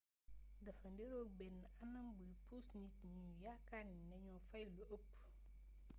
dafa niroog benn anam buy puus nit ñi ñu yaakaar nañoo fay lu ëpp